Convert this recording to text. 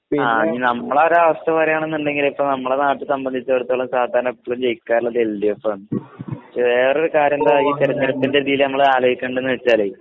ആ ഇനി നമ്മളൊരാവസ്ഥവരികാണേന്നുണ്ടെങ്കില് ഇപ്പം നമ്മള് നാട്ടിസംബന്ധിച്ചിടത്തോളം സാധാരണഎപ്പോഴും ജയിക്കാറുള്ളത് എൽ ഡി എഫാണ്‌. വേറൊരുകാര്യമെന്താ ഈ തിരഞ്ഞെടുപ്പിൻ്റെ രീതിയിലുനമ്മള് ആലോചിക്കേണ്ടതെന്നുവെച്ചാല്